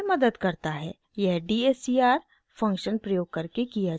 यह dscr function प्रयोग करके किया जाता है